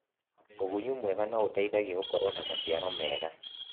ũgunyu mwega nĩũteithagia gũkorwo na maciaro mega.